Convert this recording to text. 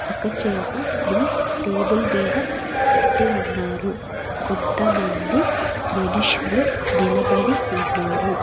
ఒక చేపని టేబుల్ మీద పెట్టి ఉన్నారు కొంతమంది మనుషులు నిలబడి ఉన్నారు.